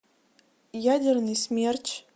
ядерный смерч